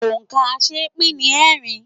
Òǹkà̀ aṣeépín ni ẹẹ́rin.